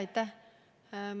Aitäh!